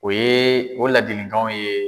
O ye o laadiliganw ye.